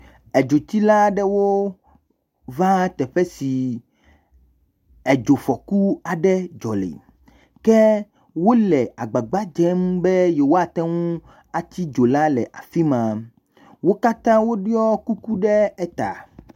Edzotsila aɖewo va teƒe si edzofɔku aɖe dzɔ le, ke wole agbagba dzem be yewoate ŋu atsi dzo la le afi ma, wo katã woɖɔ kuku ɖe eta.